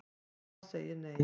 Rafa sagði nei.